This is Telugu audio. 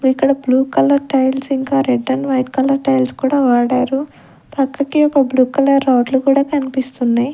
ఇక్కడ బ్లూ కలర్ టైల్స్ ఇంకా రెడ్ వైట్ కలర్ టైల్స్ కూడా వాడారు పక్కకి ఒక బ్లూ కలర్ రాడ్ లు కూడా కన్పిస్తున్నాయి .